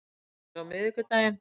Til dæmis miðvikudaginn